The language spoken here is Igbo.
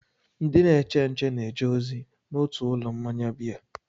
Ndị na-eche nche na-eje ozi n'otu ụlọ mmanya biya.